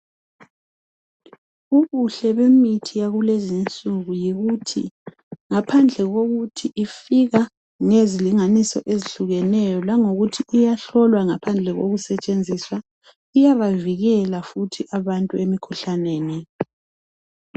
Ubuhle bemitji yakulezinsuku yikuthi ngaphandle kokuthi ifika ngezilinganiso ezihlukeneyo langokuthi uyahlolwa ngaphandle kokusetshenziswa iyabavikela futhi abantu emikhuhlaneni.